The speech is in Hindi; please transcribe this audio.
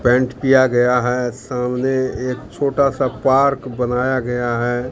पेंट किया गया है सामने एक छोटा सा पार्क बनाया गया है।